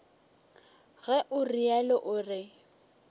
ge o realo o re